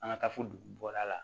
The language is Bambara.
An ka taa fo dugu bɔda la